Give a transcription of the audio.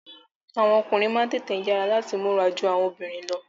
Àwọn ọkùnrin máa n tètè yara lati múra jù awọn obìnrin lọ.